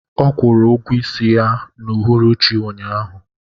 Ọ kwụrụ ụgwọ isi ya n'uhuruchi ụnyahụ